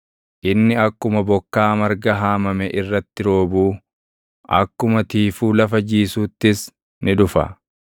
Inni akkuma bokkaa marga haamame irratti roobuu, akkuma tiifuu lafa jiisuuttis ni dhufa.